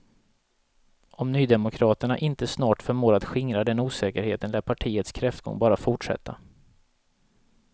Om nydemokraterna inte snart förmår att skingra den osäkerheten lär partiets kräftgång bara fortsätta.